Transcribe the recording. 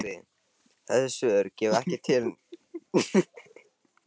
Höskuldur Kári: Þessi svör gefa ekki tilefni til þess þá að ykkar mati?